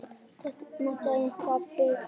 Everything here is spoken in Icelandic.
Vantar bara eitthvað bitastætt.